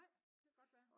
Nej det kan godt være